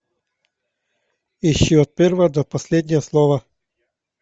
ищи от первого до последнего слова